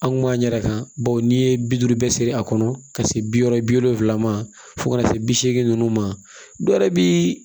An kuma an yɛrɛ kan baw n'i ye bi duuru bɛ seri a kɔnɔ ka se bi wɔɔrɔ bi wolonfila ma fo ka na se bi seegin ninnu ma dɔwɛrɛ bi